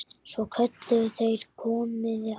Svo kölluðu þeir: Komiði aðeins!